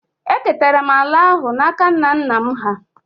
Eketara m ala ahụ n’aka nna nna m hà